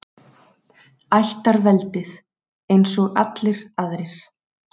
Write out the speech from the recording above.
Ættarveldið, eins og allir aðrir.